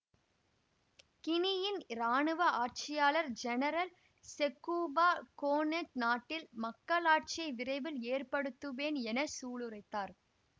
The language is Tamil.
கினியின் இராணுவ ஆட்சியாளர் ஜெனரல் செக்கூபா கோனேட் நாட்டில் மக்களாட்சியை விரைவில் ஏற்படுத்துவேன் என சூளுரைத்தார்